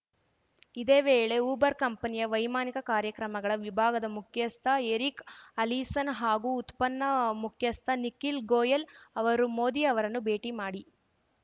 ಇದೇ ವೇಳೆ ಊಬರ್‌ ಕಂಪನಿಯ ವೈಮಾನಿಕ ಕಾರ್ಯಕ್ರಮಗಳ ವಿಭಾಗದ ಮುಖ್ಯಸ್ಥ ಎರಿಕ್‌ ಅಲಿಸನ್‌ ಹಾಗೂ ಉತ್ಪನ್ನ ಮುಖ್ಯಸ್ಥ ನಿಖಿಲ್‌ ಗೋಯೆಲ್‌ ಅವರು ಮೋದಿ ಅವರನ್ನು ಭೇಟಿ ಮಾಡಿ